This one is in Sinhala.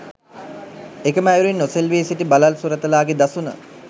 එකම අයුරින් නොසෙල්වී සිටි බළල් සුරතලාගේ දසුන